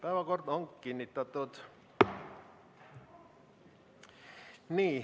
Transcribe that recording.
Päevakord on kinnitatud.